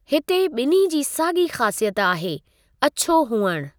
हिते ॿिन्हीं जी साॻी ख़ासियत आहे, अछो हुअणु।